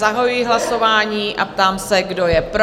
Zahajuji hlasování a ptám se, kdo je pro?